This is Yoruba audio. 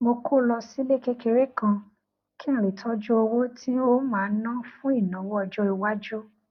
mo kó lọ sílé kékeré kan kí n lè tójú owó tí n ó máa ná fún ìnáwó ọjó iwájú